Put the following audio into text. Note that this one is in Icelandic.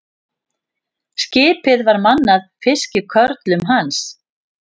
Skipið var mannað fiskikörlum hans.